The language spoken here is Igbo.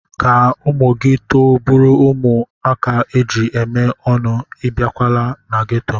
Ka ụmụ gị too bụrụ ụmụaka eji eme ọnụ, ebikwala na geto.